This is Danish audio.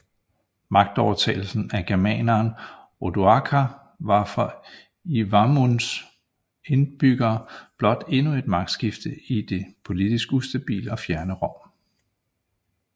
Magtovertagelsen af germaneren Odoaker var for Iuvavums indbyggere blot endnu et magtskifte i det politisk ustabile og fjerne Rom